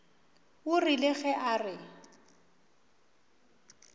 o rile ge a re